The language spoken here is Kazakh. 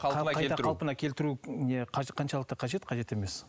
қайта қалпына келтіру не қаншалықты қажет қажет емес